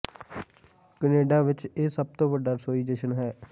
Canada ਵਿਚ ਇਹ ਸਭ ਤੋਂ ਵੱਡਾ ਰਸੋਈ ਜਸ਼ਨ ਹੈ